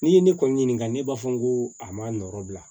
N'i ye ne kɔni ɲininka ne b'a fɔ n ko a ma nɔrɔ bila